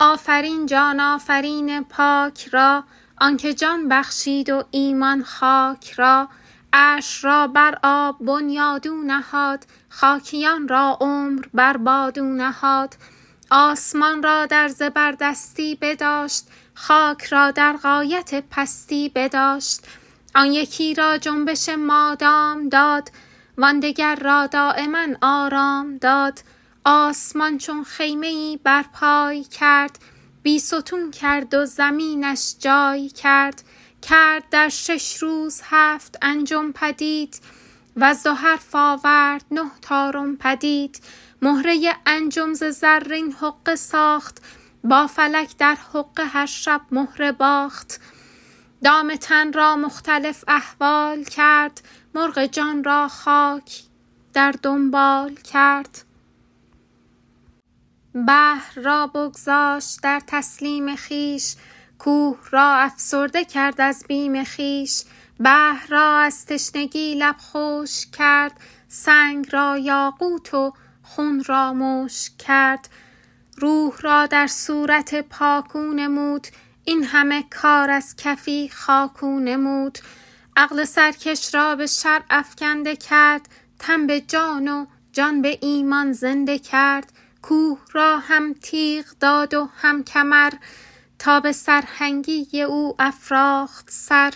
آفرین جان آفرین پاک را آن که جان بخشید و ایمان خاک را عرش را بر آب بنیاد او نهاد خاکیان را عمر بر باد او نهاد آسمان را در زبردستی بداشت خاک را در غایت پستی بداشت آن یکی را جنبش مادام داد وان دگر را دایما آرام داد آسمان چون خیمه ای برپای کرد بی ستون کرد و زمینش جای کرد کرد در شش روز هفت انجم پدید وز دو حرف آورد نه طارم پدید مهره انجم ز زرین حقه ساخت با فلک در حقه هر شب مهره باخت دام تن را مختلف احوال کرد مرغ جان را خاک در دنبال کرد بحر را بگذاشت در تسلیم خویش کوه را افسرده کرد از بیم خویش بحر را از تشنگی لب خشک کرد سنگ را یاقوت و خون را مشک کرد روح را در صورت پاک او نمود این همه کار از کفی خاک او نمود عقل سرکش را به شرع افکنده کرد تن به جان و جان به ایمان زنده کرد کوه را هم تیغ داد و هم کمر تا به سرهنگی او افراخت سر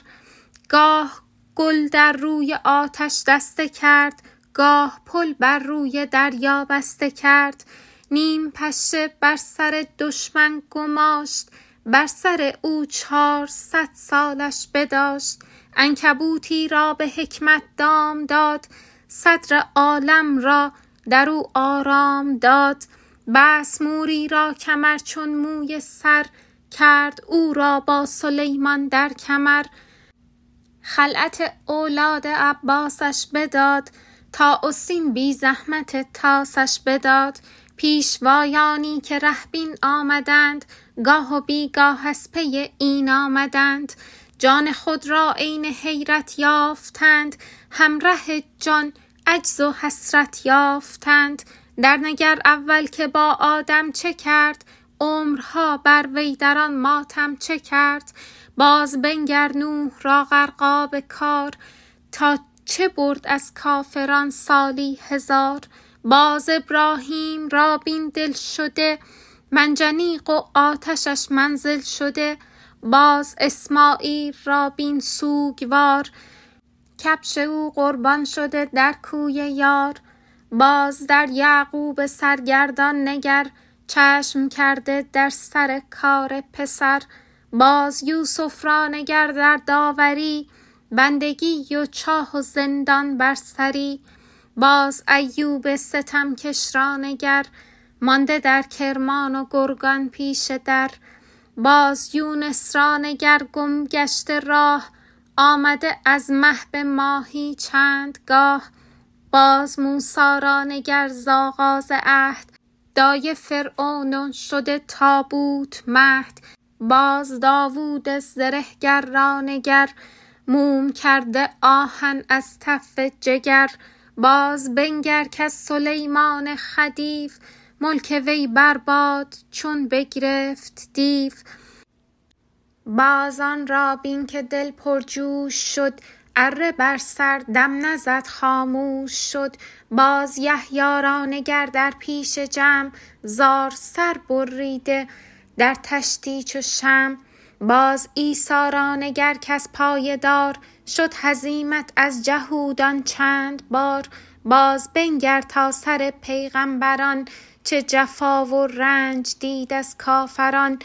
گاه گل در روی آتش دسته کرد گاه پل بر روی دریا بسته کرد نیم پشه بر سر دشمن گماشت بر سر او چارصد سالش بداشت عنکبوتی را به حکمت دام داد صدر عالم را درو آرام داد بست موری را کمر چون موی سر کرد او را با سلیمان در کمر خلعت اولاد عباسش بداد طاء و سین بی زحمت طاسش بداد پیشوایانی که ره بین آمدند گاه و بی گاه از پی این آمدند جان خود را عین حیرت یافتند هم ره جان عجز و حسرت یافتند در نگر اول که با آدم چه کرد عمرها بر وی در آن ماتم چه کرد باز بنگر نوح را غرقاب کار تا چه برد از کافران سالی هزار باز ابراهیم را بین دل شده منجنیق و آتشش منزل شده باز اسمعیل را بین سوگوار کبش او قربان شده در کوی یار باز در یعقوب سرگردان نگر چشم کرده در سر کار پسر باز یوسف را نگر در داوری بندگی و چاه و زندان بر سری باز ایوب ستمکش را نگر مانده در کرمان و گرگان پیش در باز یونس را نگر گم گشته راه آمده از مه به ماهی چند گاه باز موسی را نگر ز آغاز عهد دایه فرعون و شده تابوت مهد باز داود زره گر را نگر موم کرده آهن از تف جگر باز بنگر کز سلیمان خدیو ملک وی بر باد چون بگرفت دیو باز آن را بین که دل پرجوش شد اره بر سر دم نزد خاموش شد باز یحیی را نگر در پیش جمع زار سر ببریده در طشتی چو شمع باز عیسی را نگر کز پای دار شد هزیمت از جهودان چند بار باز بنگر تا سر پیغمبران چه جفا و رنج دید از کافران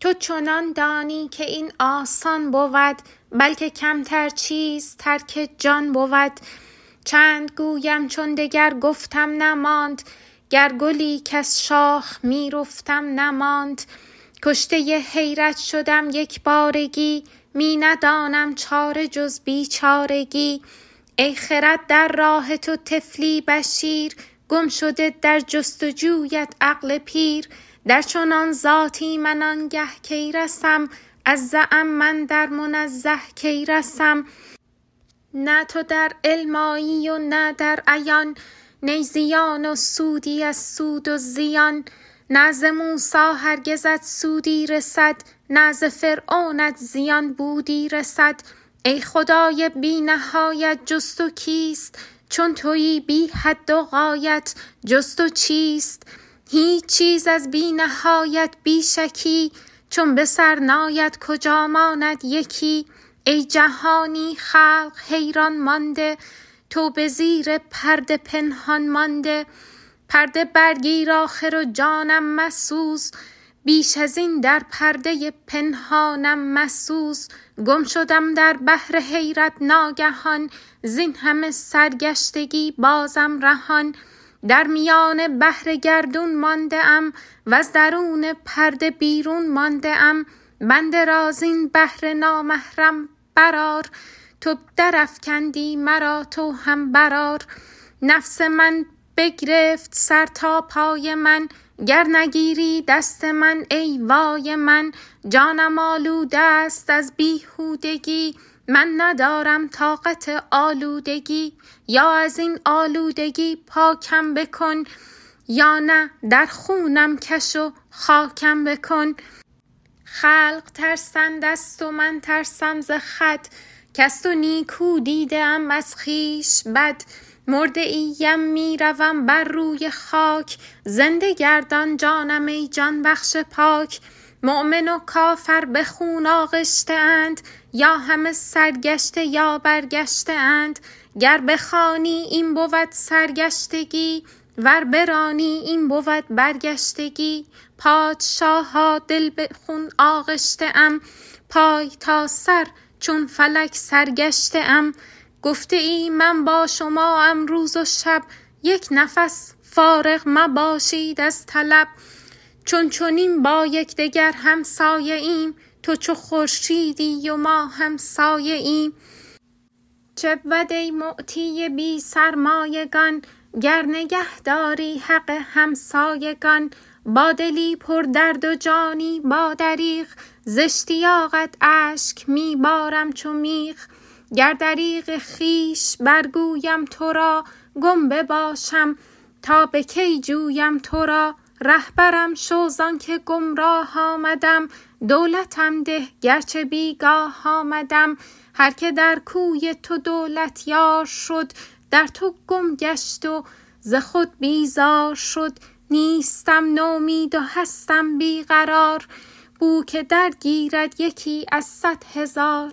تو چنان دانی که این آسان بود بلکه کمتر چیز ترک جان بود چند گویم چون دگر گفتم نماند گر گلی کز شاخ می رفتم نماند کشته حیرت شدم یک بارگی می ندانم چاره جز بی چارگی ای خرد در راه تو طفلی بشیر گم شده در جست و جویت عقل پیر در چنان ذاتی من آنگه کی رسم از زعم من در منزه کی رسم نه تو در علم آیی و نه در عیان نی زیان و سودی از سود و زیان نه ز موسی هرگزت سودی رسد نه ز فرعونت زیان بودی رسد ای خدای بی نهایت جز تو کیست چون تویی بی حد و غایت جز تو چیست هیچ چیز از بی نهایت بی شکی چون به سر ناید کجا ماند یکی ای جهانی خلق حیران مانده تو به زیر پرده پنهان مانده پرده برگیر آخر و جانم مسوز بیش ازین در پرده پنهانم مسوز گم شدم در بحر حیرت ناگهان زین همه سرگشتگی بازم رهان در میان بحر گردون مانده ام وز درون پرده بیرون مانده ام بنده را زین بحر نامحرم برآر تو درافکندی مرا تو هم برآر نفس من بگرفت سر تا پای من گر نگیری دست من ای وای من جانم آلودست از بیهودگی من ندارم طاقت آلودگی یا ازین آلودگی پاکم بکن یا نه در خونم کش و خاکم بکن خلق ترسند از تو من ترسم ز خود کز تو نیکو دیده ام از خویش بد مرده ای ام می روم بر روی خاک زنده گردان جانم ای جان بخش پاک مؤمن و کافر به خون آغشته اند یا همه سرگشته یا برگشته اند گر بخوانی این بود سرگشتگی ور برانی این بود برگشتگی پادشاها دل به خون آغشته ام پای تا سر چون فلک سرگشته ام گفته ای من با شما ام روز و شب یک نفس فارغ مباشید از طلب چون چنین با یکدگر همسایه ایم تو چو خورشیدی و ما هم سایه ایم چه بود ای معطی بی سرمایگان گر نگه داری حق همسایگان با دلی پر درد و جانی با دریغ ز اشتیاقت اشک می بارم چو میغ گر دریغ خویش برگویم تو را گم بباشم تا به کی جویم تو را رهبرم شو زان که گمراه آمدم دولتم ده گر چه بی گاه آمدم هر که در کوی تو دولت یار شد در تو گم گشت و ز خود بیزار شد نیستم نومید و هستم بی قرار بوک درگیرد یکی از صد هزار